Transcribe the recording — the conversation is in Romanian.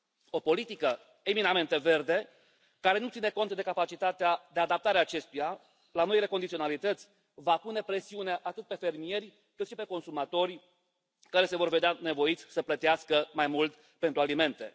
O politică eminamente verde, care nu ține cont de capacitatea de adaptare a acestuia la noile condiționalități, va pune presiune atât pe fermieri, cât și pe consumatori, care se vor vedea nevoiți să plătească mai mult pentru alimente.